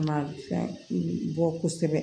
Ma fɛn bɔ kosɛbɛ